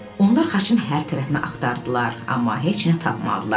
Onlar xaçın hər tərəfini axtardılar, amma heç nə tapmadılar.